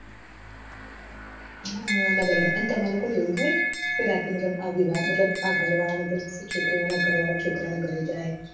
હ ના બરાબર એન તમારે લોકો ને એવું હોય કે રાતે ના આ ઘર વાળા બધા છોકરી ના ઘર વાળા છોકરા ના ઘર જાયે